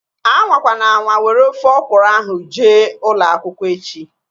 Anwakwana anwa were ofe ọkụrụ ahu jee ụlọakwụkwọ echi!